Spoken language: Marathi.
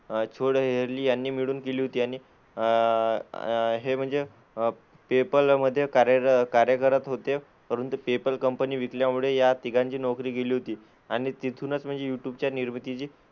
अह चूड हेरली यांनी मिळून केली होती. आणि अह हे म्हणजे पेपाल मध्ये कार्यर कार्य करत होते, परंतु पेपाल कंपनी विकल्यामुळे या तिघांची नोकरी गेली होती आणि तिथूनच म्हणजे यूट्यूबच्या निर्मितीची,